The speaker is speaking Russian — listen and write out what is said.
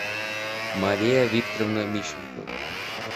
мария викторовна мищенко